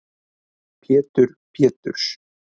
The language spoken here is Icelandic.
Pétur Péturs